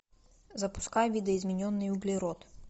запускай видоизмененный углерод